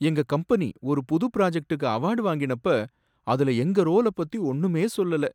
எங்க கம்பெனி ஒரு புது பிராஜக்டுக்கு அவார்ட் வாங்கினப்ப அதுல எங்க ரோல பத்தி ஒன்னுமே சொல்லல!